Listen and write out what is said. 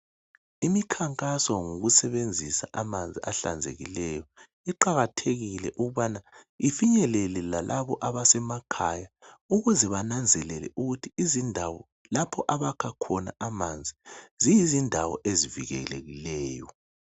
Imikhankaso ngokusebenzisa amanzi ahlanzekileyo iqakathekile ukubana ifinyelele lalabo abasemakhaya ukuze bananzelele ukuthi izindawo lapho abakha khona amanzi ziyizindawo ezivikelekileyo.